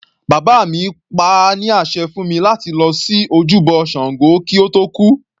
Bàbá mi pa á ní àṣẹ fún mi láti lọ sí ojúbọ ṣàngó kí ó tó kú.